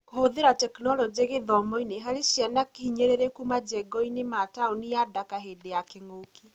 Kũhũthĩra tekinoronjĩ gĩthomo-inĩ harĩ ciana hinyĩrĩrĩku majengoinĩ ma taũni ya Ndaka hĩndĩ ya kĩng'ũki.